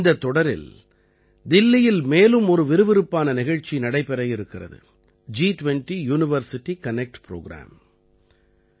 இந்தத் தொடரில் தில்லியில் மேலும் ஒரு விறுவிறுப்பான நிகழ்ச்சி நடைபெற இருக்கிறது ஜி20 யுனிவர்சிட்டி கனக்ட் ப்ரோக்ராம்